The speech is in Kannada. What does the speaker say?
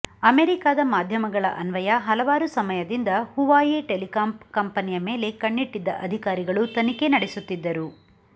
ಅಮೆರಿಕಾದ ಮಾಧ್ಯಮಗಳ ಅನ್ವಯ ಹಲವಾರು ಸಮಯದಿಂದ ಹುವಾಯಿ ಟೆಲಿಕಾಂ ಕಂಪೆನಿಯ ಮೇಲೆ ಕಣ್ಣಿಟ್ಟಿದ್ದ ಅಧಿಕಾರಿಗಳು ತನಿಖೆ ನಡೆಸುತ್ತಿದ್ದರು